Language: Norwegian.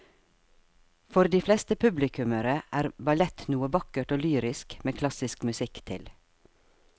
For de fleste publikummere er ballett noe vakkert og lyrisk med klassisk musikk til.